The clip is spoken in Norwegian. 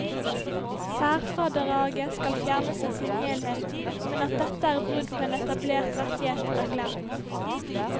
Særfradraget skal fjernes i sin helhet, men at dette er brudd på en etablert rettighet, er glemt.